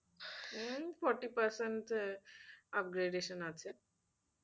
হম forty percent upgradation আছে।